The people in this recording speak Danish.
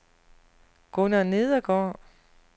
Gunner Nedergaard